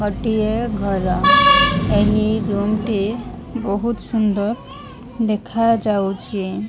ଗୋଟିଏ ଘର ଏହି ରୁମ୍ ଟି ବହୁତ୍ ସୁନ୍ଦର ଦେଖାଯାଉଚି।